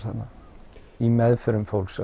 þarna í meðförum fólks